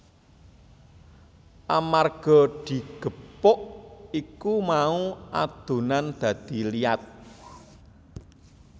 Amarga digepuk iku mau adonan dadi liat